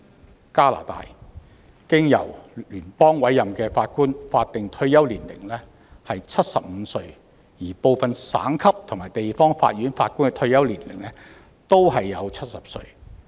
在加拿大，經由聯邦委任的法官的法定退休年齡為75歲，而部分省級和地方法院法官的退休年齡則為70歲。